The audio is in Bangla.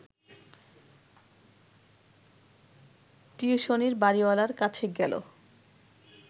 টিউশনির বাড়িওয়ালার কাছে গেল